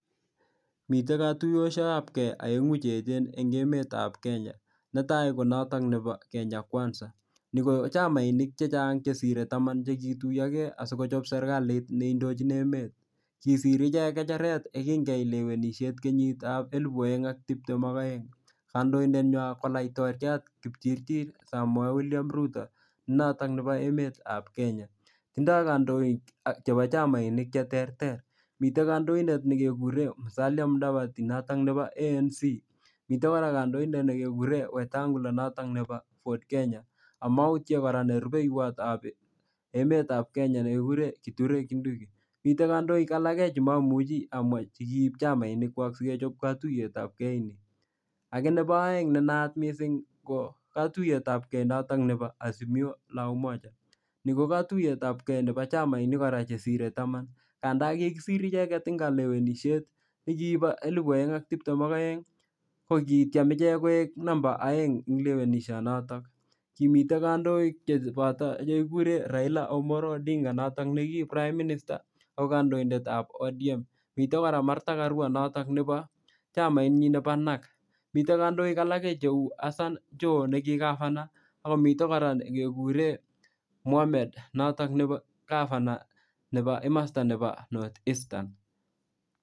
Mitei katuyoshek ab kei oeng'u cheechen eng' emetab Kenya netai konoto nebo Kenya kwanza ni kochamainik chechang' sirei taman chekiituiyogei asikochop serikalit neindochini emet kisir iche kecheret yekingeyai lewenishet eng' kenyitab elibu oeng' ak tiptem ak oeng' kandoindet nywai ko laitoriat kipchirchir Samoei William Ruto noto nebo emetab Kenya tindoi kandoik ak chebo chamainik cheterter mitei kandoindet nekekure Musalia Mudavadi notok nebo ANC mitei kora kandoindet nekekure Wetangula notok nebo FORD Kenya amautye kora ne rupeiwotab emetab Kenya nekikure Githure Kindiki mitei kandoik alake chimamuchi amwa che kiib chamainikwak sikechop katuyetab kei ake nebo oeng' nenayat mising' ko katuyetab kei notok nebo Azimio la umoja ni ko katuyetab kei nebo chamainik kora chesirei taman kanda kikisir icheget eng' kalewenishet eng' chekibo elibu oeng' ak tiptem ak oeng' ko kitchen ichek koek namba oeng' eng' lewenishonoto kimitei kandoik cheboto nekikure Raila Omollo Odinga noto ne ki Prime Minister noto ko kandoindetab ODM mitei kora Martha Karua noto chamainyi nebo NARK mitei kandoik alage neu Hassan Joho neko governor mitei kora nekekure Mohammed noto ne governor nebo north eastern